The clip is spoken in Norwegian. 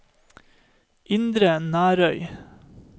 Indre Nærøy